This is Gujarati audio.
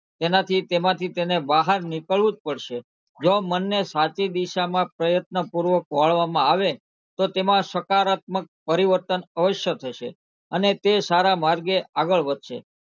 તેનાથી તેમાંથી તેને બહાર નીકળવું જ પડશે જો મનને સાચી દિશામાં પ્રયત્નપૂર્વક વાળવામાં આવે તો તેમાં સકારાત્મક પરિવર્તન અવશ્ય થશે અને તે સારા માર્ગે આગળ વધશે.